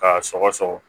K'a sɔgɔsɔgɔ